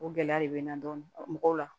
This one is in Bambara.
O gɛlɛya de bɛ n na dɔɔni mɔgɔw la